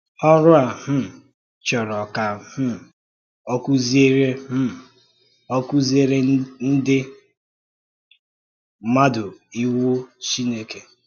Ọrụ a um chọ̀rọ̀ ka um ọ kụ́ziere um ọ kụ́ziere ndị̀ mmadụ Iwu Chineke.